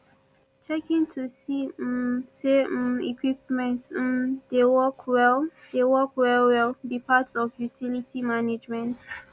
checkin to see um say um equipments um dey work well dey work well well be part of utility management